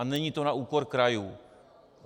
A není to na úkor krajů.